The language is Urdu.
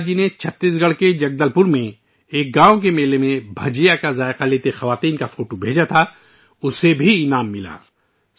رومیلا جی نے چھتیس گڑھ کے جگدل پور میں ایک گاؤں کے میلے میں بھجیا چکھنے والی خواتین کی تصویر بھیجی تھی جسے ایوارڈ سے نوازا گیا